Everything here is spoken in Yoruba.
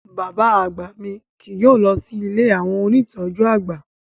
Bàbá àgbà mi kì yóò lọ sí ilé àwọn ónìtọ́jú àgbà